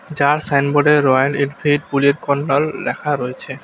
যার সাইনবোর্ডে Royal Enfield Bullet corner লেখা রয়েছে।